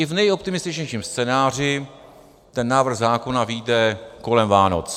I v neoptimističtějším scénáři ten návrh zákona vyjde kolem Vánoc.